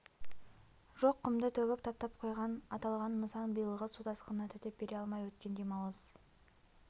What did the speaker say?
жоқ құмды төгіп таптап қойған аталған нысан биылғы су тасқынына төтеп бере алмай өткен демалыс